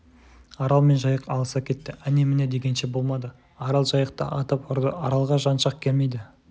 арал мен жайық алыса кетті әне-міне дегенше болмады арал жайықты атып ұрды аралға жан шақ келмейді